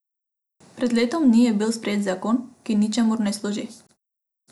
Pred letom dni je bil sprejet zakon, ki ničemur ne služi.